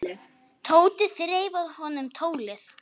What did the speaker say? Tóti þreif af honum tólið.